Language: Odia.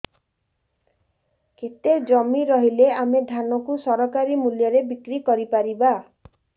କେତେ ଜମି ରହିଲେ ଆମେ ଧାନ କୁ ସରକାରୀ ମୂଲ୍ଯରେ ବିକ୍ରି କରିପାରିବା